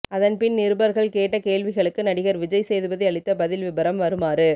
அதன்பின் நிருபர்கள் கேட்ட கேள்விகளுக்கு நடிகர் விஜய் சேதுபதி அளித்த பதில் விபரம் வருமாறு